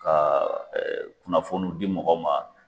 Kaa ɛɛ kunnafoniw di mɔgɔw ma